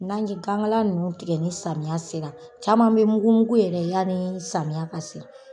N'an ji gan ŋala ninnu tigɛ ni samiya sera, caman be mugu mugu yɛrɛ yani samiya ka se.